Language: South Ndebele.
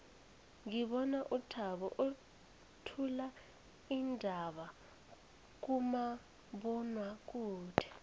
ngibona uthabo uthula iindaba kumabonwakude